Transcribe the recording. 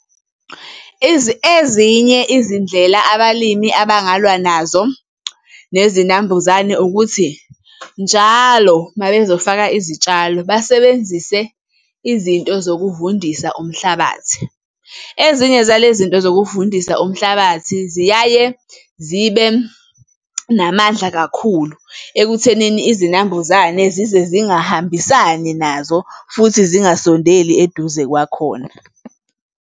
Ezinye izindlela abalimi abangalwa nazo nezinambuzane ukuthi, njalo uma bezofaka izitshalo basebenzise izinto zokuvundisa umhlabathi. Ezinye zale zinto zokuvundisa umhlabathi ziyaye zibe namandla kakhulu ekuthenini izinambuzane zize zingahambisani nazo futhi zingasondeli eduze kwakhona.